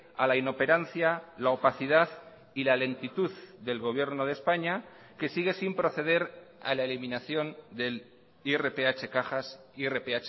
a la inoperancia la opacidad y la lentitud del gobierno de españa que sigue sin proceder a la eliminación del irph cajas irph